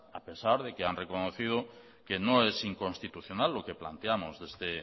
a pesar de que han reconocido que no es inconstitucional lo que planteamos desde